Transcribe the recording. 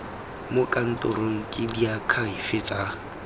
mo kantorong ke diakhaefe tsa